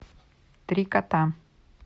три кота